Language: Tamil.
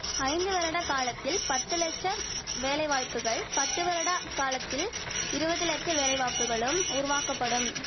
ஐந்து வருடகாலத்தில் பத்து லட்சம் வேலை வாய்ப்புகள் பத்து வருட காலத்தில் இருவது லட்ச வேலை வாக்குகளும் உருவாக்கப்படும்